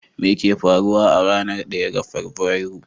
Me ke faruwa a ranar 1 ga Fabrairu?